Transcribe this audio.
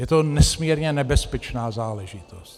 Je to nesmírně nebezpečná záležitost.